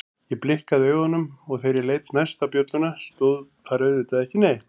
Ég blikkaði augunum og þegar ég leit næst á bjölluna stóð þar auðvitað ekki neitt.